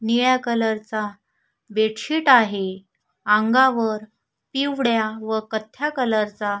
निळ्या कलर चा बेडशीट आहे अंगावर पिवळ्या व कथ्या कलर चा--